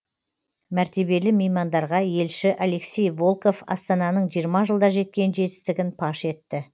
мәртебелі меймандарға елші алексей волков астананың жиырма жылда жеткен жетістігін паш етті